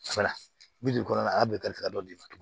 bi duuru kɔnɔna na a y'a bɛɛ kari ka dɔ d'i ma tugun